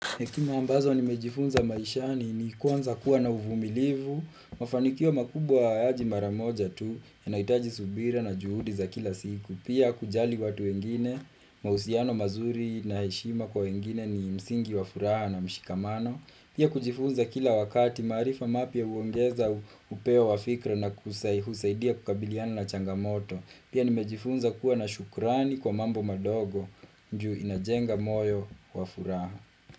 Hekima ambazo nimejifunza maishani ni kwanza kuwa na uvumilivu Mafanikio makubwa hayaji mara moja tu yanahitaji subira na juhudi za kila siku Pia kujali watu wengine, mahusiano mazuri na heshima kwa wengine ni msingi wa furaha na mshikamano Pia kujifunza kila wakati maarifa mapya huongeza upeo wa fikra na kusaidia kukabiliana na changamoto Pia nimejifunza kuwa na shukrani kwa mambo madogo ju inajenga moyo wa furaha.